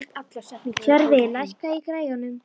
Tjörfi, lækkaðu í græjunum.